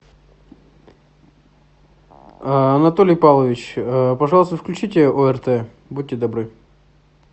анатолий павлович пожалуйста включите орт будьте добры